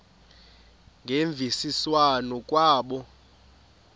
ngemvisiswano r kwabo